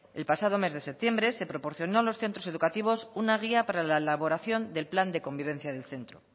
el pasado mes de septiembre se proporcionó a los centros educativos una guía para la elaboración del plan de convivencia del centro